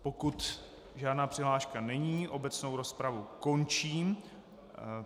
Pokud žádná přihláška není, obecnou rozpravu končím.